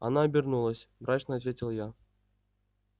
она обернулась мрачно ответил я